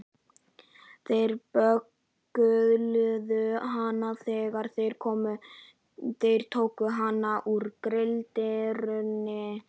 Þeir böggluðu hana þegar þeir tóku hana úr gildrunni.